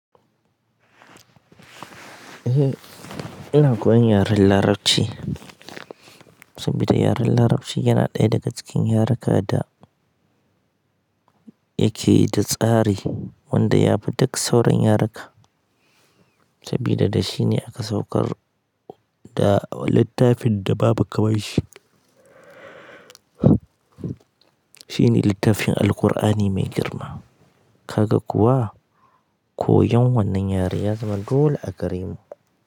Eh, ina koyan yaren Larabci sabida yaren Larabci yana ɗaya daga cikin yareka da yake da tsari wanda ya fi duk sauran yareka sabida da shine aka saukar da littafin da babu kamar shi. Shine littafin Alkur'ani mai girma. Kaga kuwa koyon wannan yare ya zama dole a gare mu.